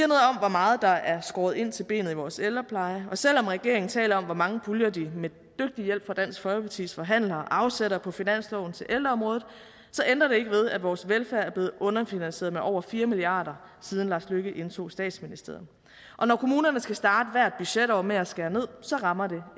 meget der er skåret ind til benet i vores ældrepleje og selv om regeringen taler om hvor mange puljer de med dygtig hjælp fra dansk folkepartis forhandlere afsætter på finansloven til ældreområdet så ændrer det ikke ved at vores velfærd er blevet underfinansieret med over fire milliard kr siden lars løkke rasmussen indtog statsministeriet når kommunerne skal starte hvert budgetår med at skære ned rammer det